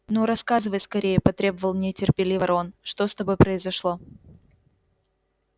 ну рассказывай скорее потребовал нетерпеливо рон что с тобой произошло